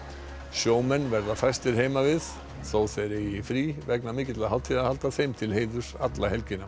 sjómenn verða fæstir heimavið þó þeir eigi frí vegna mikilla hátíðahalda þeim til heiðurs alla helgina